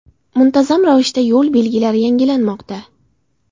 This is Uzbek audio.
Muntazam ravishda yo‘l belgilari yangilanmoqda.